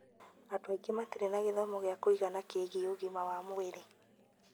Andũ aingĩ matirĩ na gĩthomo gĩa kũigana kĩgie ũgima wa mwĩrĩ.